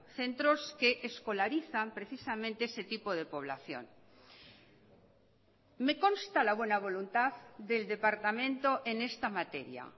centros que escolarizan precisamente ese tipo de población me consta la buena voluntad del departamento en esta materia